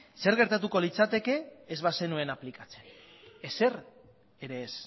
zer gertatuko litzateke ez bazenuen aplikatzen ezer ere ez